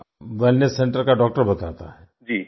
वहाँ का wellness centre का डॉक्टर बताता है